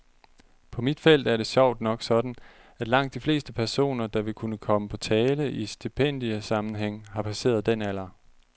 På mit felt er det sjovt nok sådan, at langt de fleste personer, der ville kunne komme på tale i stipendiesammenhæng, har passeret den alder.